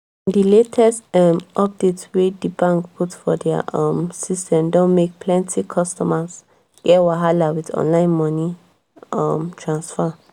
di latest um update wey di bank put for dia um system don make plenti customers get wahala with online moni um transfer.